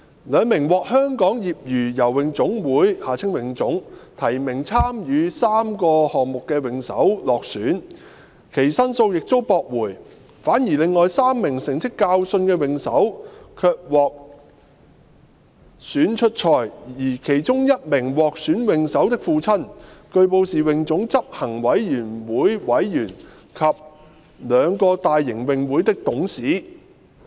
兩名獲香港業餘游泳總會提名參與3個項目的泳手落選，其上訴亦遭駁回；反而另外3名成績較遜的泳手卻獲選出賽，而其中1名獲選泳手的父親據報是泳總執行委員會委員及兩個大型泳會的董事。